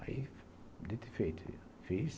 Aí, dito e feito, fiz.